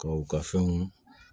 Ka u ka fɛnw